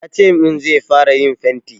Ya ce min zai fara yin fenti.